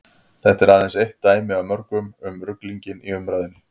þetta er aðeins eitt dæmi af mörgum um ruglinginn í umræðunni